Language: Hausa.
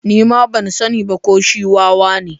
Ni ma ban sani ba ko shi wawa ne.